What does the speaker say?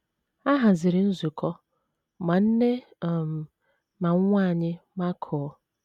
A haziri nzukọ, ma nne um na nwa nwanyị makụọ.